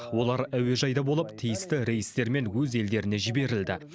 олар әуежайда болып тиісті рейстермен өз елдеріне жіберілді